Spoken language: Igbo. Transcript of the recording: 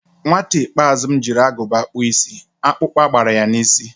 Nwata ikpeazụ m jiri Agụba kpụọ isi, akpukpa gbara ya n'isi